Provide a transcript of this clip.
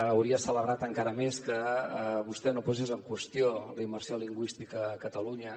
hauria celebrat encara més que vostè no posés en qüestió la immersió lingüística a catalunya